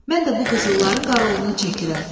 Mən də bu qızılların qaraovlunu çəkirəm.